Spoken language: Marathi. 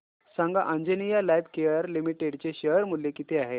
सांगा आंजनेया लाइफकेअर लिमिटेड चे शेअर मूल्य किती आहे